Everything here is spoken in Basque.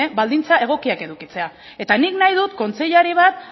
baldintza egokiak edukitzea eta nik nahi dut kontseilari bat